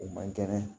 O man kɛnɛ